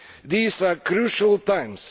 These are crucial times.